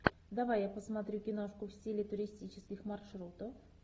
давай я посмотрю киношку в стиле туристических маршрутов